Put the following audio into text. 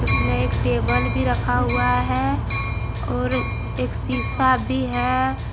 जिसमे एक टेबल भी रखा हुआ है और एक सीसा भी है ।